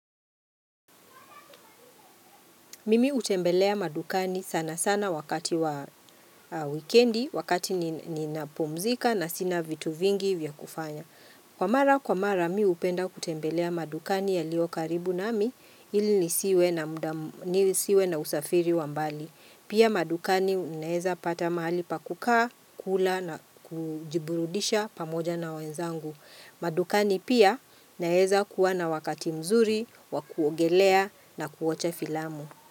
Mimi utembelea madukani sana sana wakati wa wikendi, wakati ni ni napumzika na sina vitu vingi vya kufanya. Kwa mara, kwa mara, mi hupenda kutembelea madukani ya lio karibu na mi, ili nisiwe na usafiri wambali. Pia madukani naeza pata mahali pakukaa, kula na kujiburudisha pamoja na wenzangu. Madukani pia naeza kuwa na wakati mzuri, wakuogelea na kuocha filamu.